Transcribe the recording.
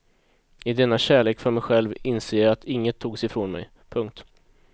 I denna kärlek för mig själv inser jag att inget togs ifrån mig. punkt